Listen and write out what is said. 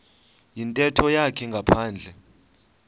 yintetho yakhe ngaphandle